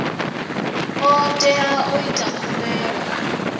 o tea u ita khumbelo